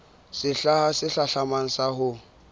sehla se hlahlamang sa ho